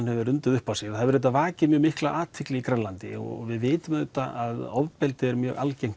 hefur undið upp á sig það hefur auðvitað vakið mjög mikla athygli á Grænlandi og við vitum auðvitað að ofbeldi er mjög algengt